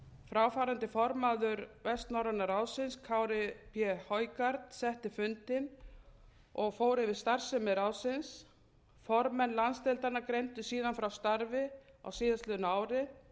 fráfarandi formaður vestnorræna ráðsins kári p højgaard setti fundinn og fór yfir starfsemi ráðsins formenn landsdeildanna greindu síðan frá starfi á síðastliðnu ári